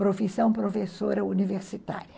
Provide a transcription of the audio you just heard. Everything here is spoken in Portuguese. Profissão professora universitária.